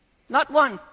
Not one.